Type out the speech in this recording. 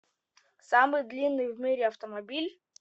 самый длинный в мире автомобиль